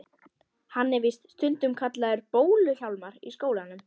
Hann er víst stundum kallaður Bólu-Hjálmar í skólanum.